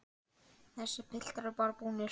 Þessir piltar eru bara búnir.